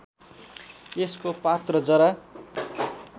यसको पात र जरा